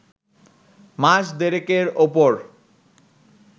মাস দেড়েকের ওপর